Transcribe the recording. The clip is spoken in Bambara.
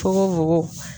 Fogo fogo